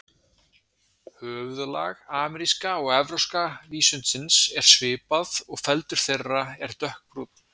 Höfuðlag ameríska og evrópska vísundsins er svipað og feldur þeirra er dökkbrúnn.